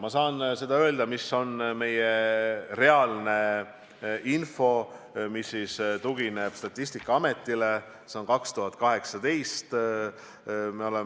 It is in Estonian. Ma saan öelda seda, milline on meie reaalne info, mis tugineb Statistikaameti 2018. aasta andmetele.